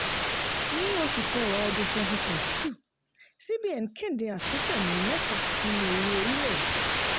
ní oṣù kẹwa twenty twenty two cbn kéde àtúntẹ̀ mẹ́tà nínú owó orílẹ̀-èdè.